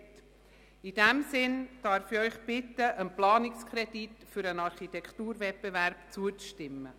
In diesem Sinn darf ich Sie bitten, dem Planungskredit für den Architekturwettbewerb zuzustimmen.